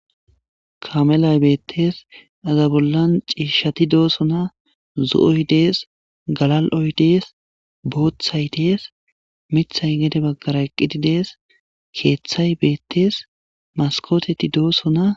Kaamelay bettes iza bollan ciishshati de'ossonna zo'oy dees galla'ioy dees booththay des miiththay gedde baggara eeqiddi dees keethtthay bettes maskotetii dossonna